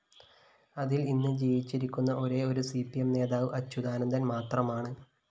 അതില്‍ ഇന്ന് ജീവിച്ചിരിക്കുന്ന ഒരേയൊരു സി പി എം നേതാവ് അച്യുതാനന്ദന്‍ മാത്രമാണ്